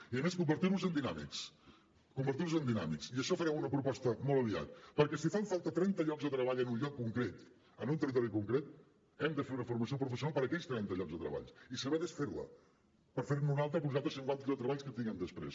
i a més convertir los en dinàmics convertir los en dinàmics i d’això en farem una proposta molt aviat perquè si fan falta trenta llocs de treball en un lloc concret en un territori concret hem de fer una formació professional per a aquells trenta llocs de treball i saber desfer la per fer ne una altra per a uns altres cinquanta llocs de treball que tinguem després